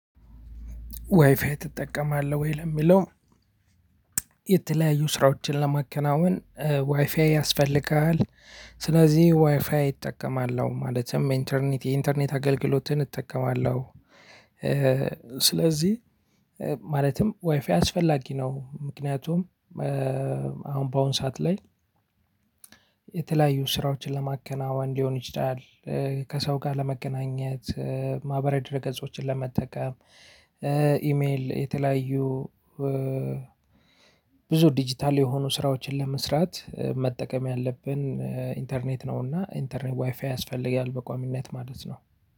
ዋይፋይ ትጠቀማለህ ወይ? ለሚለው የተለያዩ ስራዎችን ለማከናወን ዋይፋይ ያስፈልጋል። ስለዚህ ዋይፋይ እጠቀማለሁ ማለትም ኢንተርኔት የኢንተርኔት አገልግሎትን እጠቀማለሁ። ስለዚህ ማለትም ዋይፋይ አስፈላጊ ነው። ምክንያቱም አሁን በአሁን ሰዓት ላይ። የተለያዩ ስራዎችን ለማከናወን ሊሆን ይችላል። ከሰው ጋር ለመገናኘት። ማህበራዊ ድህረ ገጾችን ለመጠቀም። ኢሜል የተለያዩ ብዙ ዲጂታል የሆኑ ስራዎችን ለመስራት መጠቀም ያለብን ኢንተርኔት ነውና ኢንተርኔት ዋይፋይ ያስፈልጋል በቋሚነት ማለት ነው።